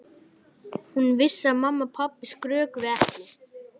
Hún vissi að mamma og pabbi skrökvuðu ekki.